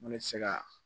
N ko ne bɛ se ka